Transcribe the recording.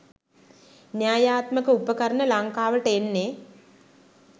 න්‍යායාත්මක උපකරණ ලංකාවට එන්නේ